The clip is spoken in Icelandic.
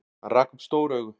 Hann rak upp stór augu.